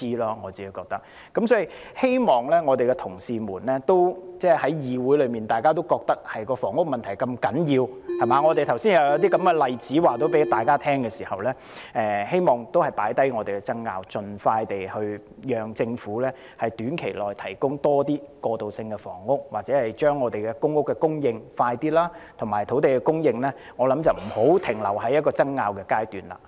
因此，既然議會內的同事都認為房屋問題如此重要，而我剛才又向大家舉出了例子，讓議員知悉情況，我希望大家可放下爭拗，盡快讓政府在短期內提供更多過渡性房屋或加快供應公屋，而我亦認為土地供應也不應停留在爭拗的階段。